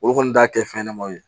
Olu kɔni t'a kɛ fɛn ɲɛnamaw ye